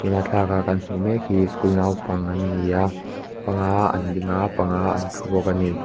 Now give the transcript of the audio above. thlalaka kan hmuh mek hi school naupang an ni a panga an ding a panga an thu bawk a ni.